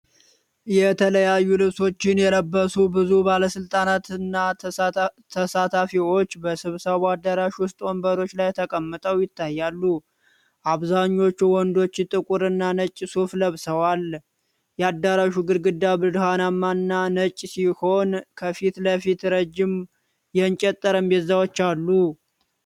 የተለያዩ ልብሶችን የለበሱ ብዙ ባለስልጣናትና ተሳታፊዎች በስብሰባ አዳራሽ ውስጥ ወንበሮች ላይ ተቀምጠው ይታያሉ። አብዛኞቹ ወንዶች ጥቁርና ነጭ ሱፍ ለብሰዋል። የአዳራሹ ግድግዳ ብርሃናማና ነጭ ሲሆን፣ ከፊት ለፊት ረዥም የእንጨት ጠረጴዛዎች አሉ።